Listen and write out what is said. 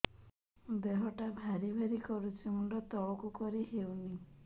ଦେହଟା ଭାରି ଭାରି କରୁଛି ମୁଣ୍ଡ ତଳକୁ କରି ହେଉନି